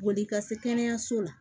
Boli ka se kɛnɛyaso la